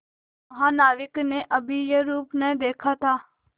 महानाविक ने कभी यह रूप न देखा था